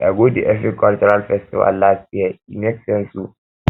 i go di efik cultural festival last year e make sense o